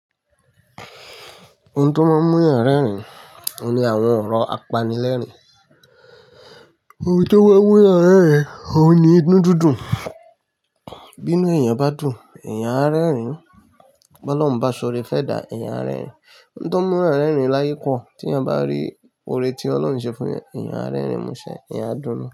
Ohun tó máa ń mú èèyàn rẹ́rìn, òun ni àwọn ọ̀rọ̀ apanilẹ́rìn-ín. Ohun tó máa ń mú èèyàn rẹ́rìn, òun ni inú dúdú. Bínú èèyàn bá dùn, èèyàn á rẹ́rìn. Bi Ọlọ́run bá ṣọrẹ́ fẹ́ edà, èèyàn á rẹ́rìn. Ohun tó ń mú èèyàn rẹ́rìn láyìí pọ̀. Tí èèyàn bá rí oore tí Ọlọ́run ṣe fún èèyàn, èèyàn á rẹ́rìn músẹ́. Èèyàn á dùn.